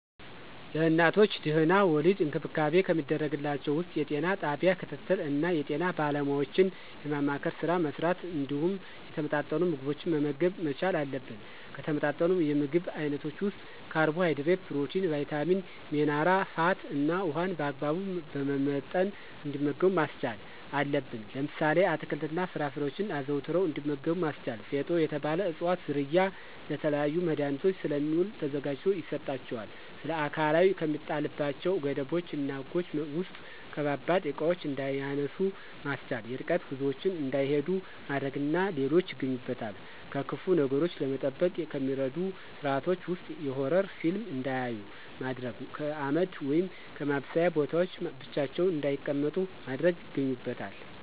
ለእናቶች ድህና-ወሊድ እንክብካቤ ከሚደረግላቸው ውስጥ የጤና ጣቢያ ክትትል እና የጤና ባለሙያዎችን የማማከር ስራ መሥራት እንዲሁም የተመጣጠኑ ምግቦችን መመገብ መቻል አለብን። ከተመጣጠኑ የምግብ አይነቶች ውስጥ ካርቦሀይድሬት፣ ፕሮቲን፣ ቭይታሚን፣ ሜነራ፣ ፋት እና ውሀን በአግባቡ በመመጠን እንዲመገቡ ማስቻል አለብን። ለምሳሌ፦ አትክልት እና ፍራፍሬዎችን አዘውትረው እንዲመገቡ ማስቻል። ፊጦ የተባለ እፅዋት ዝርያ ለተለያዩ መድሀኒቶች ስለሚውል ተዘጋጅቶ ይሰጣቸዋል። ስለአካላዊ ከሚጣልባቸው ገደቦች እና ህጎች ውስጥ ከባባድ እቃዎችን እንዳያነሱ ማስቻል፣ የርቀት ጉዞዎችን እንዳይሂዱ ማድረግ እና ሌሎች ይገኙበታል። ከክፉ ነገሮች ለመጠበቅ ከሚደረጉ ስርአቶች ውስጥ የሆረር ፊልም እንዳያዩ ማድረግ፣ ከአመድ ወይም ከማብሰያ ቦታዎች ብቻቸውን እንዳይቀመጡ ማድረግ ይገኙበታል።